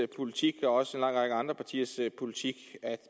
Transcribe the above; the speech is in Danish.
politik og også en lang række andre partiers politik at